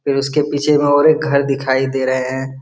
फिर उसके पीछे में और एक घर दिखाई दे रहे हैं ।